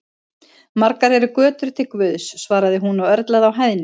Margar eru götur til Guðs, svaraði hún og örlaði á hæðni.